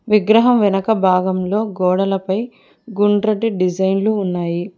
విగ్రహం వెనక భాగంలో గోడలపై గుండ్రటి డిజైన్లు ఉన్నాయి.